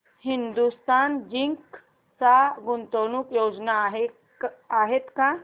Hindustan Zinc च्या गुंतवणूक योजना आहेत का